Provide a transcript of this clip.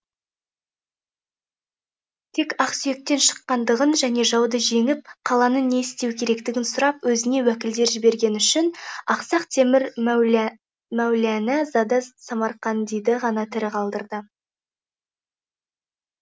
тек ақсүйектен шыққандығын және жауды жеңіп қаланы не істеу керектігін сұрап өзіне уәкілдер жібергені үшін ақсақ темір мәулянә зада самарқандиды ғана тірі қалдырды